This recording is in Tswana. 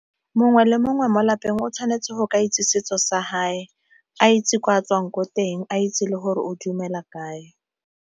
Mongwe le mongwe mo lapeng o tshwanetse go ka itse setso sa hae a itse gore a tswang ko teng a itse le gore o dumela kae.